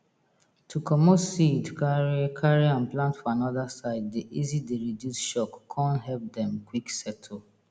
to comot seed carry carry am plant for anoda side dey easy dey reduce shock con help dem quick settle